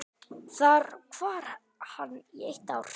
Þar var hann í eitt ár.